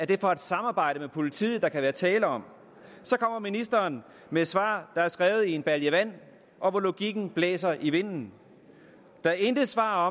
det er for et samarbejde med politiet der kan være tale om kommer ministeren med et svar der er skrevet i en balje vand og hvor logikken blæser i vinden der er intet svar